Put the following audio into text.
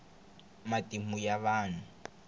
matimu ya vahnu